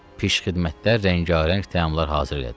Pişxidmətlər rəngarəng təamlar hazır elədilər.